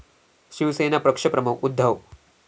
शिवसेना पक्षप्रमुख उद्धव